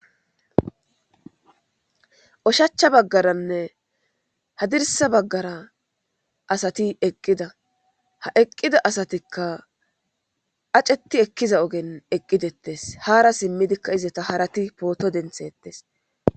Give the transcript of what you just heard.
Oshacha baggaranne hadirsa baggara asati eqqida ha eqqida asatikka aceti ekkiza ogen eqqidettes haara simmidikka izata harati pooto denthettes.